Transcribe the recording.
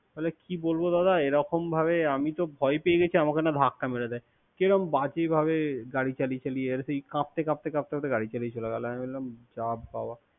তাহলে কি বলব দাদা এরকম ভাবে আমি তো ভয় পেয়ে গেছি। আমাকে না ধাক্কা মেরে দেয়। কিরকম বাজে ভাবে গাড়ি চালিয়ে চালিয়ে, কাপতে কাপতে কাপতে গাড়ি চালিয়ে চলে গেল। আমি তো বললাম যা বাবা।